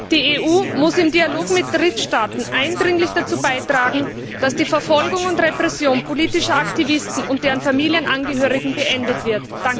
Die EU muss im Dialog mit Drittstaaten eindringlich dazu beitragen, dass die Verfolgung und Repression von politischen Aktivisten und deren Familienangehörigen beendet wird.